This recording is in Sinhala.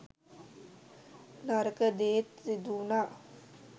නරක දේත් සිදුවුනා.